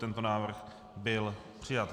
Tento návrh byl přijat.